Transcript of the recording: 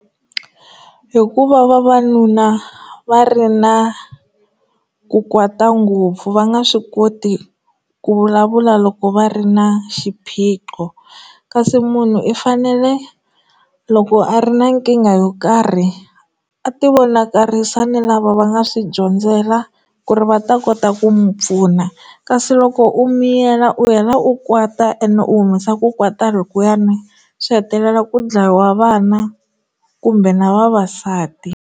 Hikuva vavanuna va ri na ku kwata ngopfu va nga swi koti ku vulavula loko va ri na xiphiqo kasi munhu i fanele loko a ri na nkingha yo karhi a ti vonakarisa ni lava va nga swi dyondzela ku ri va ta kota ku n'wi pfuna kasi loko u miyela u hela u kwata ene u humesa ku kwata loko ene swi hetelela ku dlayiwa vana kumbe na vavasati.